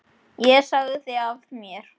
Ég sagði af mér.